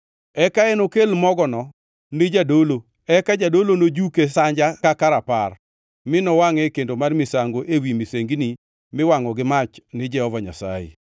Eka enokel mogono ni jadolo eka jadolo nojuke sanja kaka rapar, mi nowangʼe e kendo mar misango ewi misengini miwangʼo gi mach ni Jehova Nyasaye. Mano en misango mar golo richo.